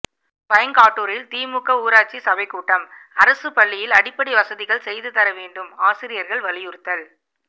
பைங்காட்டூரில் திமுக ஊராட்சி சபை கூட்டம் அரசு பள்ளியில் அடிப்படை வசதிகள் செய்து தர வேண்டும் ஆசிரியர்கள் வலியுறுத்தல்